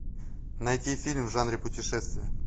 найти фильм в жанре путешествия